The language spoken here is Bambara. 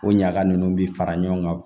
O ɲaga ninnu bɛ fara ɲɔgɔn kan